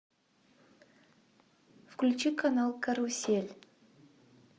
включи канал карусель